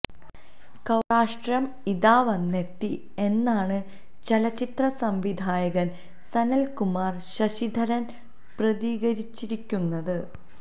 കൌരാഷ്ട്രം ഇതാ വന്നെത്തി എന്നാണ് ചലച്ചിത്ര സംവിധായകന് സനല് കുമാര് ശശിധരന് പ്രതികരിച്ചിരിക്കുന്നത്